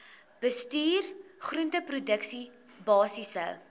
bestuur groenteproduksie basiese